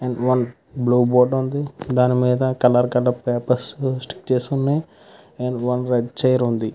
One blue board వుంది. దాని మేధా కలర్ కలర్ పపెర్స్ కూడా స్టిక్ చేసి వున్నాయ్. One website --